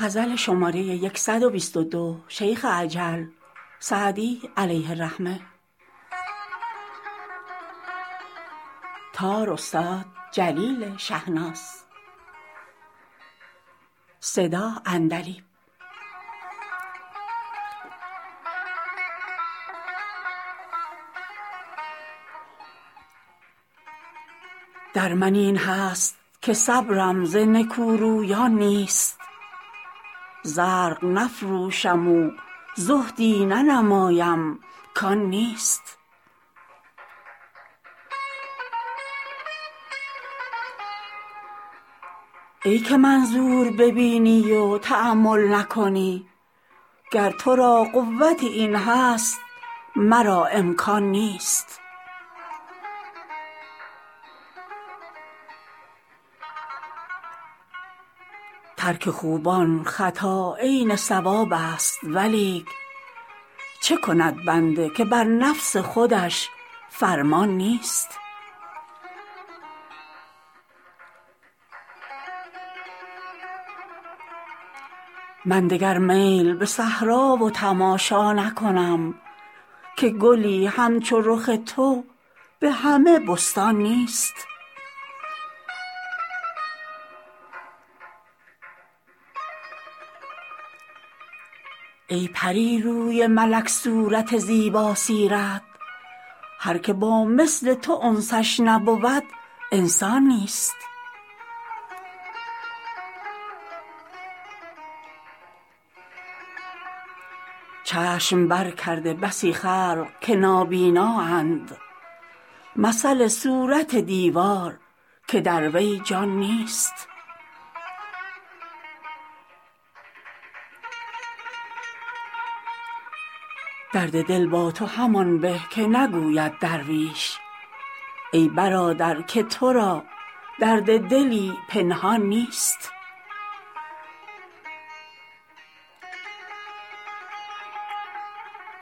در من این هست که صبرم ز نکورویان نیست زرق نفروشم و زهدی ننمایم کان نیست ای که منظور ببینی و تأمل نکنی گر تو را قوت این هست مرا امکان نیست ترک خوبان خطا عین صوابست ولیک چه کند بنده که بر نفس خودش فرمان نیست من دگر میل به صحرا و تماشا نکنم که گلی همچو رخ تو به همه بستان نیست ای پری روی ملک صورت زیباسیرت هر که با مثل تو انسش نبود انسان نیست چشم برکرده بسی خلق که نابینااند مثل صورت دیوار که در وی جان نیست درد دل با تو همان به که نگوید درویش ای برادر که تو را درد دلی پنهان نیست